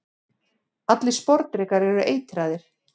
allir sporðdrekar eru eitraðir